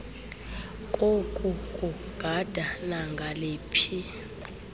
koku kugada nangaliphi